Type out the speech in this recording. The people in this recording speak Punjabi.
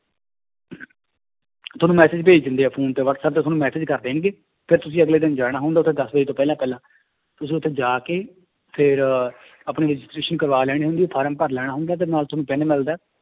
ਤੁਹਾਨੂੰ message ਭੇਜ ਦਿੰਦੇ ਹੈ phone ਤੇ ਵਾਟਸੈਪ ਤੇ ਤੁਹਾਨੂੰ message ਕਰ ਦੇਣਗੇ, ਫਿਰ ਤੁਸੀਂ ਅਗਲੇ ਦਿਨ ਜਾਣਾ ਹੁੰਦਾ ਉੱਥੇ ਦਸ ਵਜੇ ਤੋਂ ਪਹਿਲਾਂ ਪਹਿਲਾਂ ਤੁਸੀਂ ਉੱਥੇ ਜਾ ਕੇ ਫਿਰ ਆਪਣੀ registration ਕਰਵਾ ਲੈਣੀ ਹੁੰਦੀ ਹੈ form ਭਰ ਲੈਣਾ ਹੁੰਦਾ ਤੇ ਨਾਲ ਤੁਹਾਨੂੰ ਪੈਨ ਮਿਲਦਾ ਹੈ